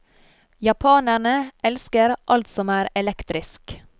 Japanerne elsker alt som er elektrisk.